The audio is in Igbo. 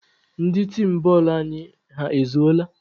Ndị tim bọọlụ anyị, ha ezuola?